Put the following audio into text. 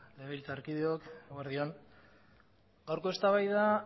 legebiltzarkideok eguerdi on gaurko eztabaida